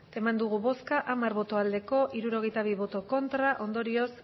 eman dugu bozka hamar bai hirurogeita bi ez ondorioz